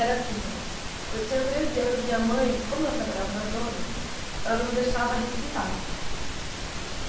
Era assim, ó. Eu tinha treze anos e minha mãe, como ela trabalhava na zona, ela não me deixava respirar.